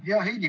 Hea Heidy!